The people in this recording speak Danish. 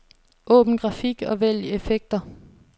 Åbn grafik og vælg effekter.